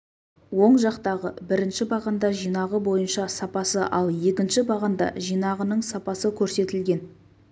оң жақтағы бірінші бағанда жинағы бойынша сапасы ал екінші бағанда жинағының сапасы көрсетілген